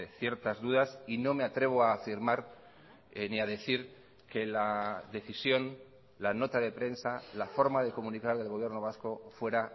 ciertas dudas y no me atrevo a afirmar ni a decir que la decisión la nota de prensa la forma de comunicar del gobierno vasco fuera